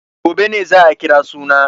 Gobe ne za a kira suna.